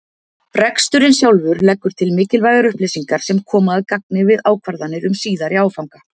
Reksturinn sjálfur leggur til mikilvægar upplýsingar sem koma að gagni við ákvarðanir um síðari áfanga.